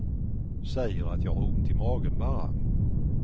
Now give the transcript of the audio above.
Säger att jag har ont i magen bara.